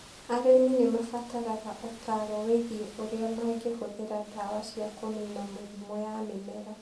Arĩmi nĩ mabataraga ũtaaro wĩgiĩ ũrĩa mangĩhũthĩra ndawa cia kũniina mĩrimũ ya mĩmera.